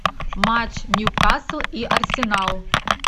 матч ньюкасл и арсенал